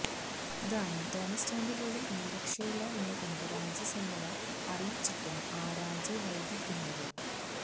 അതാണ് തോമസ് ചാണ്ടി പോലും ഇനി രക്ഷയില്ല എന്ന് കണ്ട് രാജി സന്നദ്ധത അറിയിച്ചിട്ടും ആ രാജിവൈകിക്കുന്നത്